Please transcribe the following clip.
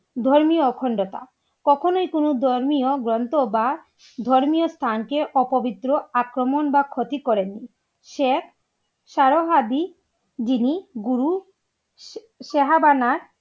ধর্মীয় অখণ্ডতা কখনোই কোনো ধর্মীয় গ্রন্থ বা ধর্মীয় স্থান কে অপবিত্র, আক্রমণ, বা ক্ষতি করেনি সে যিনি গুরু